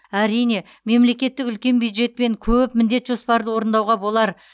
әрине мемлекеттік үлкен бюджетпен көп міндет жоспарды орындауға болар